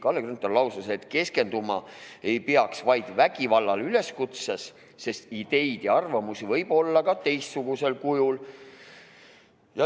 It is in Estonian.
Kalle Grünthal lausus, et keskenduma ei peaks vaid vägivallale üleskutsetes, sest ideid ja arvamusi võib olla ka teistsugusel kujul.